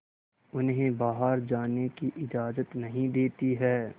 उन्हें बाहर जाने की इजाज़त नहीं देती है